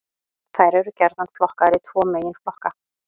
Þær eru gjarnan flokkaðar í tvo meginflokka.